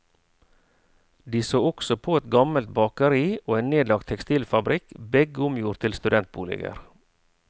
De så også på et gammelt bakeri og en nedlagt tekstilfabrikk, begge omgjort til studentboliger.